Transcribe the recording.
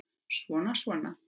Svona og svona.